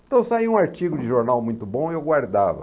Então saía um artigo de jornal muito bom e eu guardava.